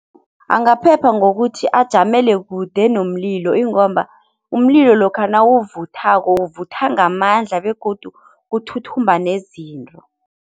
Angaphepha ngokuthi ajamele kude nomlilo ingomba umlilo lokha nawuvuthako uvutha ngamandla begodu kuthuthumba nezinto.